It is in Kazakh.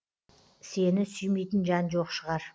сені сүймейтін жан жоқ шығар